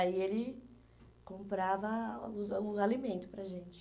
Aí ele comprava os ah o alimento para a gente.